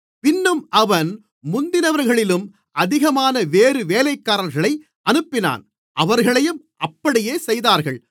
பின்னும் அவன் முந்தினவர்களிலும் அதிகமான வேறு வேலைக்காரர்களை அனுப்பினான் அவர்களையும் அப்படியே செய்தார்கள்